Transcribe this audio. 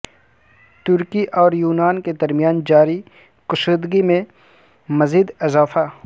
ترکی اور یونان کے درمیان جاری کشیدگی میں مزید اضافہ